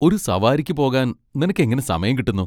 ഒരു സവാരിക്ക് പോകാൻ നിനക്ക് എങ്ങനെ സമയം കിട്ടുന്നു?